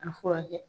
A furakɛ